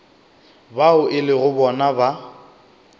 bao e lego bona ba